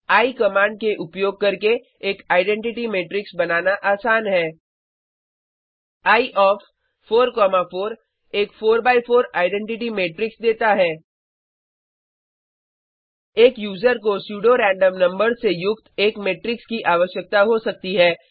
एये command का उपयोग करके एक आइडेन्टिटी मेट्रिक्स बनाना आसान है एये ओएफ 4 कॉमा 4 एक 4 बाय 4 आइडेन्टिटी मेट्रिक्स देता है एक यूजर को स्यूडो रैंडम नंबर्स से युक्त एक मेट्रिक्स की आवश्यकता हो सकती है